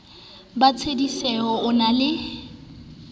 ba tshedisehe o na le